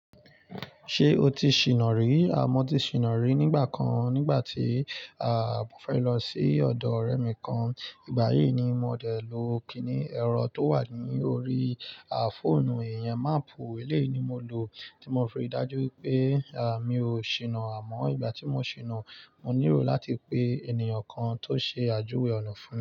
Ṣé o ti ṣìnà rí? A mo ti ṣìnà rí nígbà kan nígbà tí, à, mo fẹ́ lọ sí ọ̀dọ̀ ọ̀rẹ́ mi kan. Ìgbà yìí ni mo dẹ̀ lọ kìíní, ẹ̀rọ tó wà ní orí, à, fóònù ìyẹn maapù. Eléyì ni mo lò tí mo fi rí dájú pé mi oo ṣìnà. Àmọ́ ìgbà tí mo ṣìnà, mo níró láti pé ènìyàn kan tó ṣe àjúwe ọ̀nà fún mi.